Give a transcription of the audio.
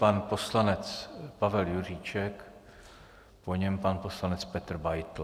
Pan poslanec Pavel Juříček, po něm pan poslanec Petr Beitl.